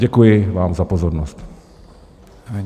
Děkuji vám za pozornost.